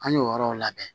An y'o yɔrɔw labɛn